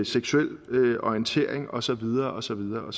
seksuel orientering og så videre og så videre